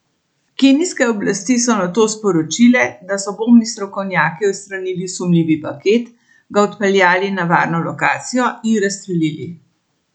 Kenijske oblasti so nato sporočile, da so bombni strokovnjaki odstranili sumljivi paket, ga odpeljali na varno lokacijo in razstrelili.